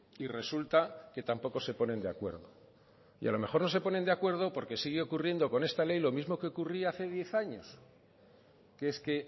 y resulta que tampoco se ponen de acuerdo y a lo mejor no se ponen de acuerdo porque sigue ocurriendo con esta ley lo mismo que ocurría hace diez años que es que